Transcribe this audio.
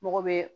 Mɔgɔ bɛ